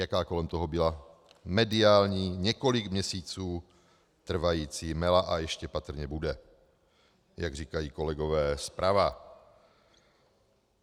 Jaká kolem toho byla mediální několik měsíců trvající mela a ještě patrně bude, jak říkají kolegové zprava.